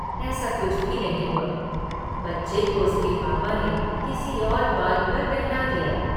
ऐसा कुछ भी नहीं हुआ बच्चे को उसके पापा ने किसी और बात पर बहला दिया।